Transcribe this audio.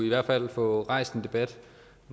i hvert fald få rejst en debat